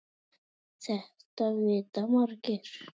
Þetta vita margir.